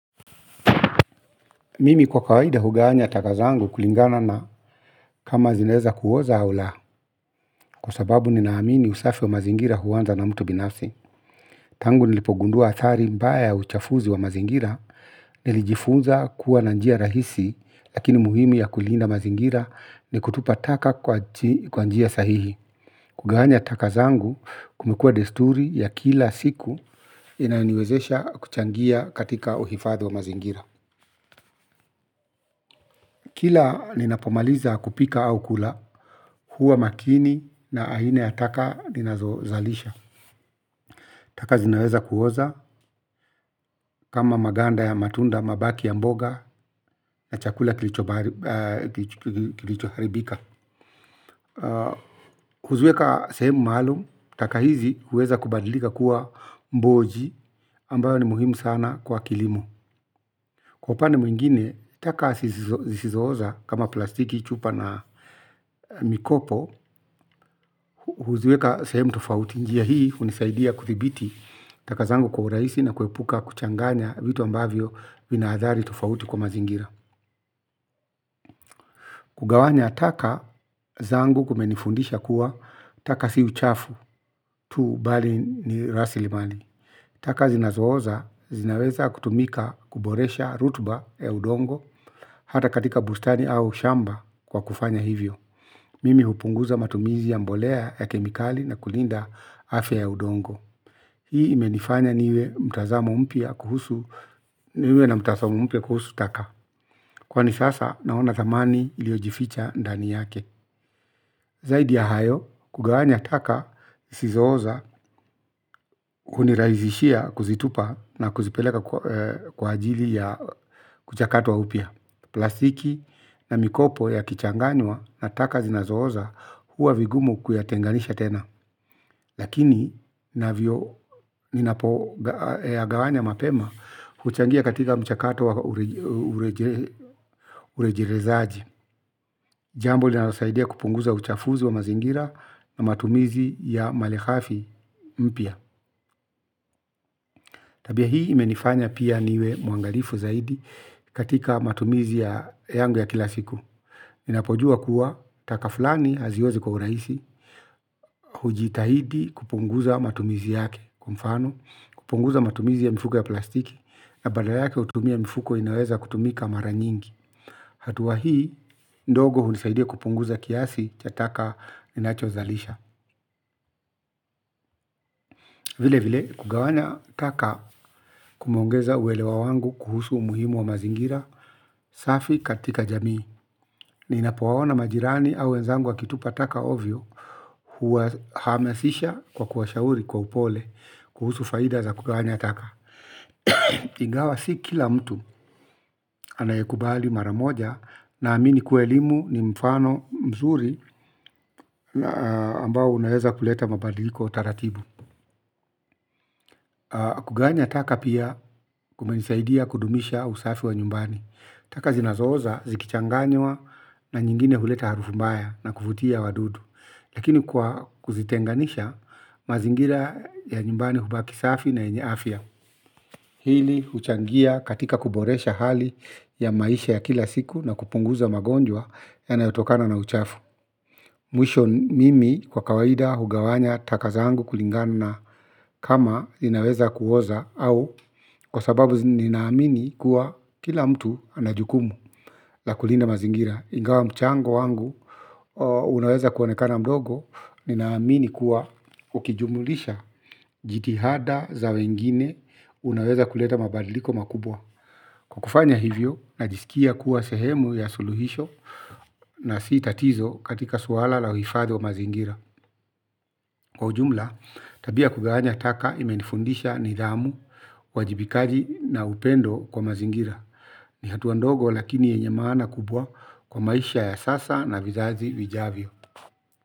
Mimi kwa kawaida hugawanya taka zangu kulingana na kama zinaeza kuoza au la kwa sababu ninaamini usafi wa mazingira huwanza na mtu binafsi. Tangu nilipogundua atari mbaya uchafuzi wa mazingira. Nilijifunza kuwa na njia rahisi. Lakini muhimi ya kulinda mazingira ni kutupa taka kwa njia sahihi. Kugawanya taka zangu kumekua desturi ya kila siku. Inayoniwezesha kuchangia katika uhifadha wa mazingira kila ninapomaliza kupika au kula huwa makini na aina ya taka ninazo zalisha. Taka zinaweza kuoza kama maganda ya matunda mabaki ya mboga na chakula kilicho haribika. Huziweka sehemu maalum, taka hizi huweza kubadilika kuwa mboji ambayo ni muhimu sana kwa kilimo. Kwa upande mwingine, taka zisizo oza kama plastiki chupa na mikopo huziweka sehemu tofauti njia hii hunisaidia kuthibiti taka zangu kwa uraisi na kuepuka kuchanganya vitu ambavyo vinaadhari tofauti kwa mazingira. Kugawanya taka zangu kumenifundisha kuwa taka si uchafu tu bali ni rasilimali. Taka zinazo oza zinaweza kutumika kuboresha rutuba ya udongo hata katika bustani au shamba kwa kufanya hivyo. Mimi hupunguza matumizi ya mbolea ya kemikali na kulinda afya ya udongo. Hii imenifanya niwe mtazamo mpya kuhusu, niwe na mtazamo mpya kuhusu taka. Kwani sasa naona thamani iliyojificha ndani yake. Zaidi ya hayo, kugawanya taka, zisizoza, unirahisishia kuzitupa na kuzipeleka kwa ajili ya kuchakatwa upya. Plastiki na mikopo yakichanganywa na zinazo oza huwa vigumu kuyatenganisha tena. Lakini, na vio, ninapo yagawanya mapema, huchangia katika mchakato wa urejerezaji. Jambo, linalosaidia kupunguza uchafuzi wa mazingira na matumizi ya malehafi mpya. Tabia hii, imenifanya pia niwe mwangalifu zaidi katika matumizi ya yangu ya kila siku. Ninapojua kuwa, taka fulani haziozi kwa urahisi, hujitahidi kupunguza matumizi yake. Kwa mfano kupunguza matumizi ya mifuko ya plastiki na badala yake hutumia mifuko inayoweza kutumika mara nyingi. Hatuwa hii, ndogo hunisaidia kupunguza kiasi cha taka ninacho zalisha. Vile vile, kugawanya taka kumeongeza uwelewa wangu kuhusu umuhimu wa mazingira safi katika jamii. Ninapo waona majirani au wenzangu wakitupa taka ovyo. Huwa hamasisha kwa kuwa shauri kwa upole kuhusu faida za kugawanya taka. Ingawa si kila mtu anayekubali mara moja na amini kuwa elimu ni mfano mzuri ambao unaeza kuleta mabadiliko taratibu. Kugawanya taka pia kumenisaidia kudumisha usafi wa nyumbani. Taka zinazooza zikichanganywa na nyingine huleta harufu mbaya na kuvutia wadudu. Lakini kwa kuzitenganisha mazingira ya nyumbani hubaki safi na yenye afya. Hili huchangia katika kuboresha hali ya maisha ya kila siku na kupunguza magonjwa ya nayotokana na uchafu. Mwisho mimi kwa kawaida hugawanya taka zangu kulingana na kama inaweza kuoza au kwa sababu ninaamini kuwa kila mtu anajukumu la kulinda mazingira. Ingawa mchango wangu, unaweza kuonekana mdogo, ninaamini kuwa ukijumulisha jitihada za wengine unaweza kuleta mabadiliko makubwa. Kwa kufanya hivyo, najisikia kuwa sehemu ya suluhisho na si tatizo katika suala la uhifadhi wa mazingira. Kwa ujumla, tabia ya kugawanya taka imenifundisha nidhamu, uwajibikaji na upendo kwa mazingira. Ni hatua ndogo lakini yenye maana kubwa kwa maisha ya sasa na vizazi vijavyo.